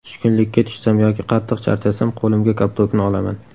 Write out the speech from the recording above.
Tushkunlikka tushsam yoki qattiq charchasam qo‘limga koptokni olaman.